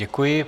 Děkuji.